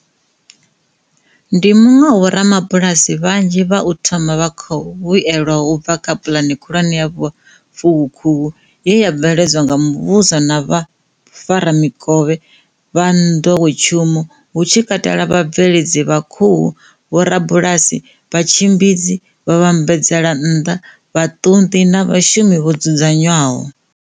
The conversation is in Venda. Ndi muṅwe wa vhorabulasi vhanzhi vha u thoma vha khou vhuelwaho u bva kha Pulane Khulwane ya Vhufuwakhuhu, ye ya bveledzwa nga muvhuso na vhafaramikovhe vha nḓowetshumo, hu tshi kate lwa vhabveledzi vha khuhu, vhorabulasi, vhatshimbidzi, vhavhambadzelannḓa, vhaṱunḓi na vhashumi vho dzudzanywaho.